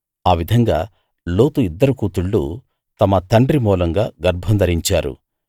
ఆ విధంగా లోతు ఇద్దరు కూతుళ్ళూ తమ తండ్రి మూలంగా గర్భం ధరించారు